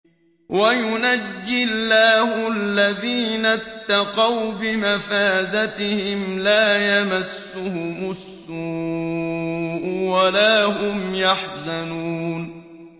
وَيُنَجِّي اللَّهُ الَّذِينَ اتَّقَوْا بِمَفَازَتِهِمْ لَا يَمَسُّهُمُ السُّوءُ وَلَا هُمْ يَحْزَنُونَ